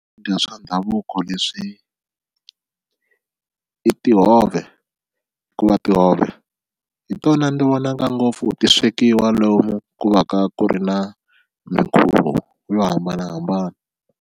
Swakudya swa ndhavuko leswi i tihove hikuva tihove hi tona ndzi vonaka ngopfu ti swekiwa lomu ku va ka ku ri na mikhuvo yo hambanahambana.